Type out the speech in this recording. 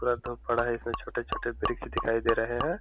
पूरा धूप पड़ा है। इसमें छोटे-छोटे वृक्ष दिखाए दे रहे हैं।